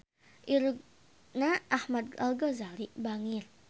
Irungna Ahmad Al-Ghazali bangir